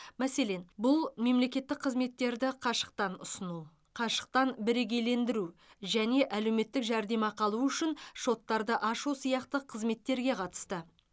мәселен бұл мемлекеттік қызметтерді қашықтан ұсыну қашықтан бірегейлендіру және әлеуметтік жәрдемақы алу үшін шоттарды ашу сияқты қызметтерге қатысты